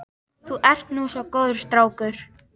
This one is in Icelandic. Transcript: Þú ert nú svo góður strákur.